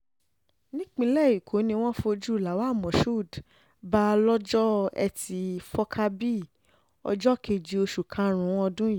nípínlẹ̀ èkó ni wọ́n fojú lawal moshood bá lọ́jọ́ etí furcabee ọjọ́ keje oṣù karùn-ún ọdún yìí